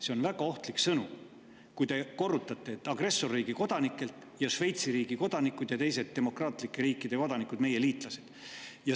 See on väga ohtlik sõnum, kui te korrutate, et agressorriigi kodanikelt, sest Šveitsi riigi kodanikud ja teised demokraatlike riikide kodanikud on meie liitlased.